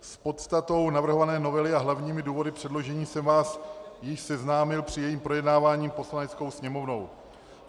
S podstatou navrhované novely a hlavními důvody předložení jsem vás již seznámil při jejím projednávání Poslaneckou sněmovnou.